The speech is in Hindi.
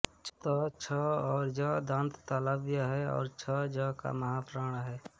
च छ और ज़ दन्ततालव्य हैं और छ़ ज़ का महाप्राण हैं